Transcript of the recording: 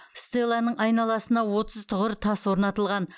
стелланың айналасына отыз тұғыр тас орнатылған